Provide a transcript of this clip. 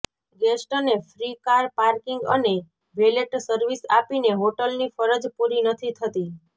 ગેસ્ટને free car parking અને valet service આપીને હોટલની ફરજ પૂરી નથી થતી